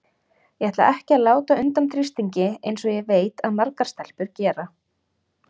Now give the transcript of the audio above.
Ég ætla ekki að láta undan þrýstingi eins og ég veit að margar stelpur gera.